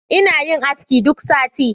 Ina yin aski duk sati